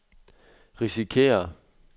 risikerer